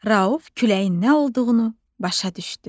Rauf küləyin nə olduğunu başa düşdü.